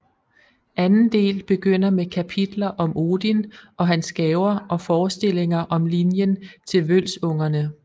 Anden del begynder med kapitler om Odin og hans gaver og forestillinger om linjen til Vølsungerne